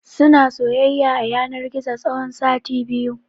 Suna soyayya a yanar gizo tsawon sati biyu.